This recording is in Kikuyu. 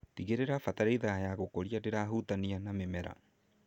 Tigĩrĩra bataraitha ya gũkũria ndĩrahutania na mĩmera.